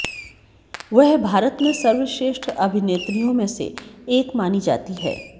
वह भारत में सर्वश्रेष्ठ अभिनेत्रियों में से एक मानी जाती है